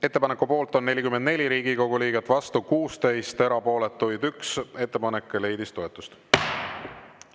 Ettepaneku poolt on 44 Riigikogu liiget, vastu 16, erapooletuid 1, ettepanek leidis toetust.